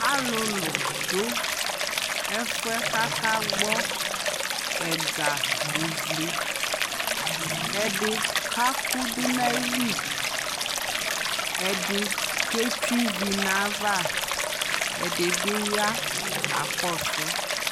alʋlʋ dʋ ɛƒʋɛ ka akagbɔ ɛga lʋvlɛ, ɛdini ka kʋdʋ nʋ ayili ,ɛdi kɛ twɛ ivi nʋ aɣa, ɛdibi ya kakɔsʋ